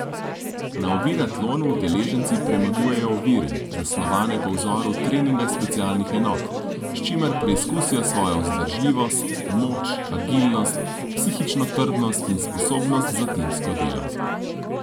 Na oviratlonu udeleženci premagujejo ovire, zasnovane po vzoru treninga specialnih enot, s čimer preizkusijo svojo vzdržljivost, moč, agilnost, psihično trdnost in sposobnost za timsko delo.